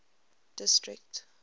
district